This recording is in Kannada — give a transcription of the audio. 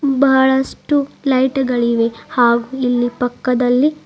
ಬಹಳಷ್ಟು ಲೈಟ್ ಗಳಿವೆ ಹಾಗು ಇಲ್ಲಿ ಪಕ್ಕದಲ್ಲಿ--